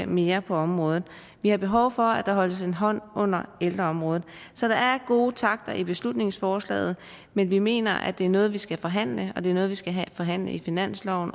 mere på området vi har behov for at der holdes en hånd under ældreområdet så der er gode takter i beslutningsforslaget men vi mener at det er noget vi skal forhandle og at det er noget vi skal forhandle i finansloven